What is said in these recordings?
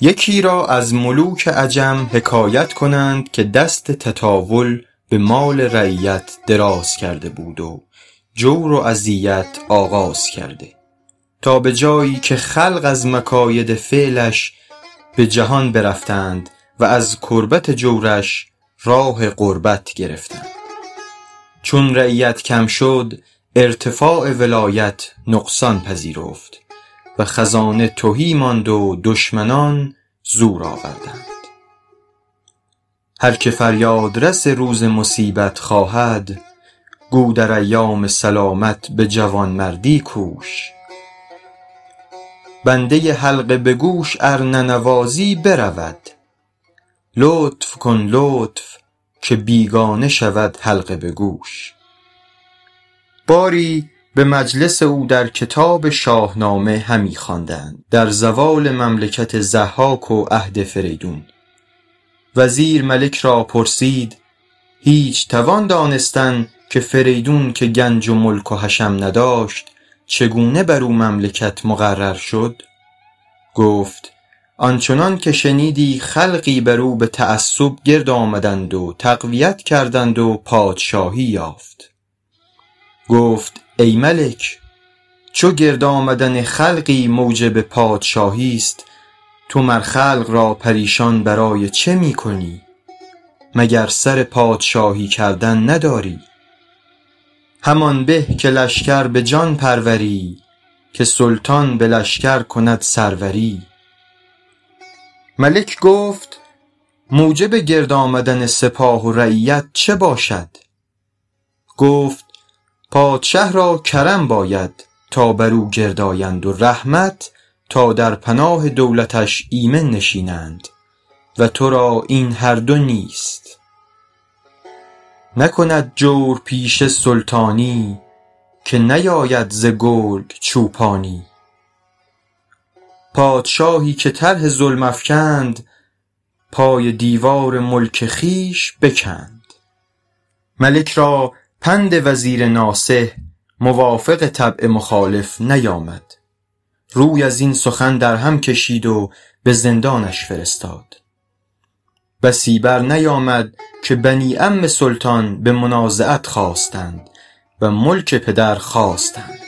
یکی را از ملوک عجم حکایت کنند که دست تطاول به مال رعیت دراز کرده بود و جور و اذیت آغاز کرده تا به جایی که خلق از مکاید فعلش به جهان برفتند و از کربت جورش راه غربت گرفتند چون رعیت کم شد ارتفاع ولایت نقصان پذیرفت و خزانه تهی ماند و دشمنان زور آوردند هر که فریاد رس روز مصیبت خواهد گو در ایام سلامت به جوانمردی کوش بنده حلقه به گوش ار ننوازی برود لطف کن لطف که بیگانه شود حلقه به گوش باری به مجلس او در کتاب شاهنامه همی خواندند در زوال مملکت ضحاک و عهد فریدون وزیر ملک را پرسید هیچ توان دانستن که فریدون که گنج و ملک و حشم نداشت چگونه بر او مملکت مقرر شد گفت آن چنان که شنیدی خلقی بر او به تعصب گرد آمدند و تقویت کردند و پادشاهی یافت گفت ای ملک چو گرد آمدن خلقی موجب پادشاهیست تو مر خلق را پریشان برای چه می کنی مگر سر پادشاهی کردن نداری همان به که لشکر به جان پروری که سلطان به لشکر کند سروری ملک گفت موجب گرد آمدن سپاه و رعیت چه باشد گفت پادشه را کرم باید تا بر او گرد آیند و رحمت تا در پناه دولتش ایمن نشینند و ترا این هر دو نیست نکند جورپیشه سلطانی که نیاید ز گرگ چوپانی پادشاهی که طرح ظلم افکند پای دیوار ملک خویش بکند ملک را پند وزیر ناصح موافق طبع مخالف نیامد روی از این سخن در هم کشید و به زندانش فرستاد بسی بر نیامد که بنی عم سلطان به منازعت خاستند و ملک پدر خواستند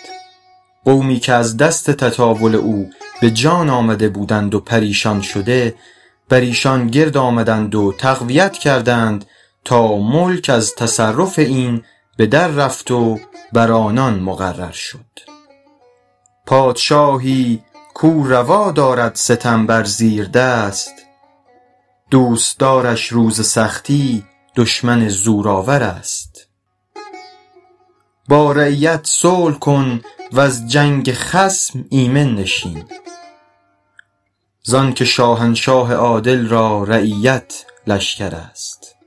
قومی که از دست تطاول او به جان آمده بودند و پریشان شده بر ایشان گرد آمدند و تقویت کردند تا ملک از تصرف این به در رفت و بر آنان مقرر شد پادشاهی کاو روا دارد ستم بر زیردست دوستدارش روز سختی دشمن زورآورست با رعیت صلح کن وز جنگ خصم ایمن نشین زان که شاهنشاه عادل را رعیت لشکرست